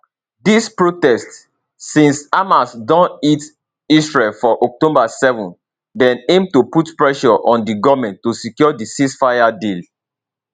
dis protests since hamas don hit israel for october 7 dem aim to put pressure on di goment to secure di ceasefire deal